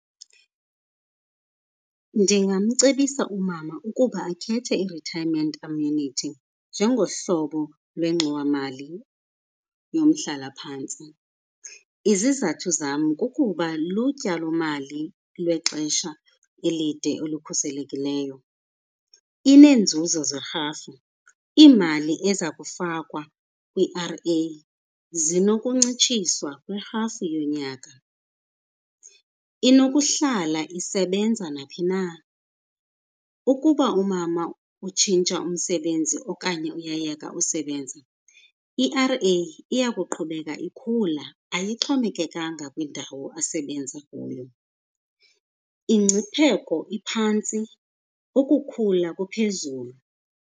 Ndingamcebisa umama ukuba akhethe i-retirement annuity njengohlobo lwengxowamali yomhlala phantsi. Izizathu zam kukuba lutyalomali lwexesha elide olukhuselekileyo. Ineenzuzo zerhafu, iimali eza kufakwa i-R_A zinokuncitshiswa kwi-half yonyaka. Inokuhlala isebenza naphi na. Ukuba umama utshintsha umsebenzi okanye uyayeka usebenza, i-R_A iya kuqhubeka ikhula ayixhomekekanga kwindawo asebenza kuyo. Ingcipheko iphantsi, ukukhula kuphezulu.